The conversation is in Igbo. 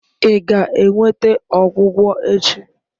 Ị ga-enweta ọgwụgwọ echi?